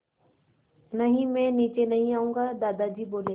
नहीं मैं नीचे नहीं आऊँगा दादाजी बोले